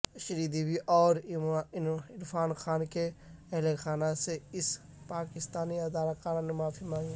شری دیوی اور عرفان خان کے اہل خانہ سے اس پاکستانی اداکار نے معافی مانگی